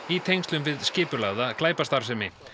í tengslum við skipulagða glæpastarfsemi